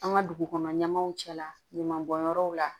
An ka dugukɔnɔ ɲɛmaaw cɛla ɲaman bɔnyɔrɔw la